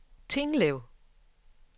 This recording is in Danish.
Tinglev